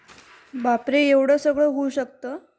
बापरे एवढा सगळं होऊ शकत ?